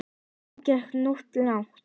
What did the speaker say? Þetta gekk nú of langt.